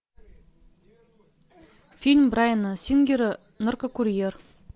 фильм брайана сингера наркокурьер